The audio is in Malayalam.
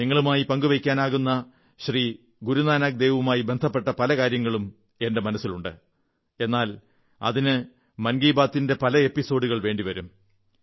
നിങ്ങളുമായി പങ്കു വയ്ക്കാനാകുന്ന ശ്രീ ഗുരുനാനക് ദേവുമായി ബന്ധപ്പെട്ട പല കാര്യങ്ങളും എന്റെ മനസ്സിലുണ്ട് എന്നാൽ അതിന് മൻ കീ ബാതിന്റെ പല എപ്പിസോഡുകൾ വേണ്ടി വരും